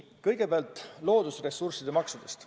Kõigepealt loodusressursside maksudest.